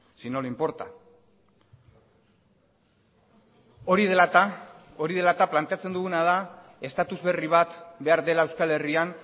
si no le importa hori dela eta hori dela eta planteatzen duguna da estatus berri bat behar dela euskal herrian